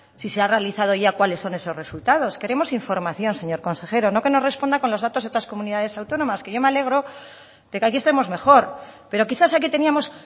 si se ha realizado ya cuáles son esos resultados queremos información señor consejero no que nos responda con los datos de otras comunidades autónomas que yo me alegro de que aquí estemos mejor pero quizás aquí teníamos